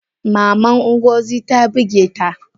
Maman Ngozi ta bigeta?